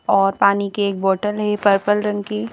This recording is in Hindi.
और पानी की एक बोटल है पर्पल रंग की--